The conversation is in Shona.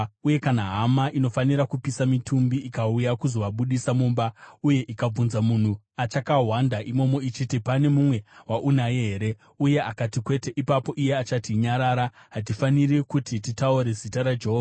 Uye kana hama inofanira kupisa mitumbi ikauya kuzovabudisa mumba, uye ikabvunza munhu achakahwanda imomo ichiti, “Pane mumwe waunaye here?” uye akati, “Kwete,” ipapo iye achati, “Nyarara! Hatifaniri kuti titaure zita raJehovha.”